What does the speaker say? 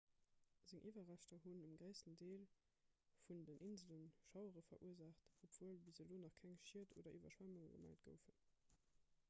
seng iwwerreschter hunn um gréissten deel vun den insele schauere verursaacht obwuel bis elo nach keng schied oder iwwerschwemmunge gemellt goufen